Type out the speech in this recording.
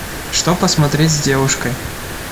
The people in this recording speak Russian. что посмотреть с девушкой